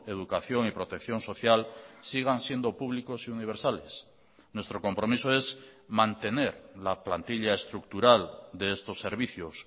educación y protección social sigan siendo públicos y universales nuestro compromiso es mantener la plantilla estructural de estos servicios